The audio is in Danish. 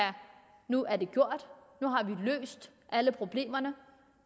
nu er det gjort nu har vi løst alle problemerne